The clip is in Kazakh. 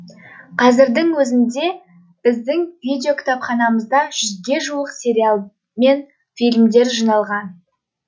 қазірдің өзінде біздің видеокітапханамызда жүзге жуық сериал мен фильмдер жиналған